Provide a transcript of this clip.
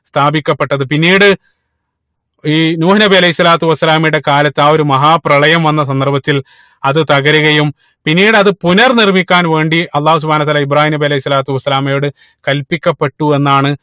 സ്ഥാപിക്കപ്പെട്ടത് പിന്നീട് ഈ നൂഹ് നബി അലൈഹി സ്വലാത്തു വസ്സലാമയുടെ കാലത്ത് ആ ഒരു മഹാപ്രളയം വന്ന സന്ദർഭത്തിൽ അത് തകരുകയും പിന്നീട് അത് പുനർ നിർമിക്കാൻ വേണ്ടി അള്ളാഹു സുബ്‌ഹാനഉ വതാല ഇബ്രാഹീം നബി അലൈഹി സ്വലാത്തു വസ്സലാമയോട് കല്പിക്കപ്പെട്ടു എന്നാണ്